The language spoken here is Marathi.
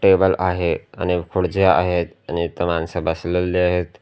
टेबल आहे आणि खुर्चा आहेत आणि इथं माणस बसलेली आहेत.